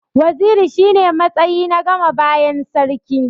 Waziri shi ne matsayi na gama bayan sarki.